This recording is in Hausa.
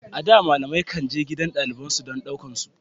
A da, malamai kan je gidajen dalibai don su ɗaukar su.